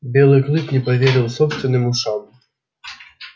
белый клык не поверил собственным ушам